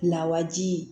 Lawaji